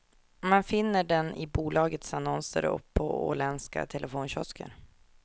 Man finner den i bolagets annonser och på åländska telefonkiosker.